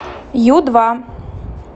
ю два